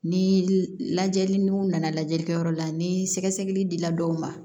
Ni lajɛli n'u nana lajɛli kɛ yɔrɔ la ni sɛgɛsɛgɛli dila dɔw ma